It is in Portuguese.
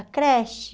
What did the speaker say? A creche...